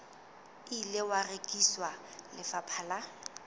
ile wa rekisetswa lefapha la